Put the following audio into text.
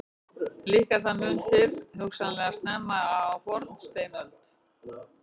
Líklega er það mun fyrr, hugsanlega snemma á fornsteinöld.